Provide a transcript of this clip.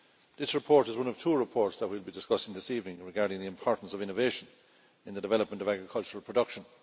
This report is one of two reports that we will be discussing this evening regarding the importance of innovation in the development of agricultural production.